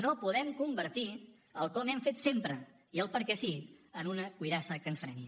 no podem convertir el com hem fet sempre i el perquè sí en una cuirassa que ens freni